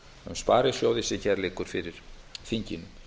sparisjóði sem hér liggur fyrir þinginu